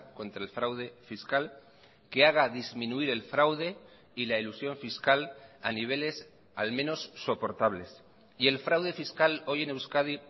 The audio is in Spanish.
contra el fraude fiscal que haga disminuir el fraude y la elusión fiscal a niveles al menos soportables y el fraude fiscal hoy en euskadi